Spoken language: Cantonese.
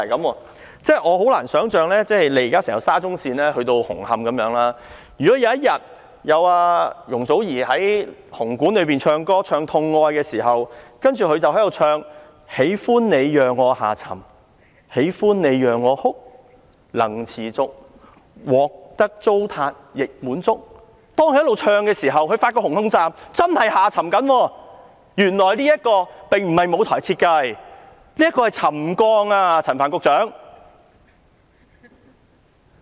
我真的難以想象，就現時整條沙中線一直去到紅磡站的問題，如果有一天，當容祖兒在香港體育館演唱"痛愛"時，她唱到"喜歡你讓我下沉/喜歡你讓我哭/能持續獲得糟蹋亦滿足"，發覺一直唱的時候，紅磡站真的正在下沉，原來這並不是舞台設計，而是沉降啊，陳帆局長。